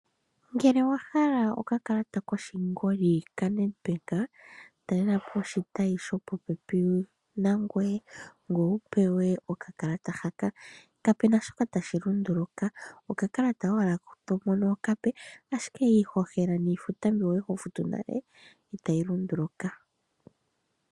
Ngele owa hala okakalata koshingoli ka NedBank, talelapo oshitayi sho popepi nangwee ngoye wu pewe okakalata haka. Kapena shoka tashi lunduluka, okakalata owala to mono okape ashike iihohela niifuta mbyo kwali ho futu nale itayi lunduluka.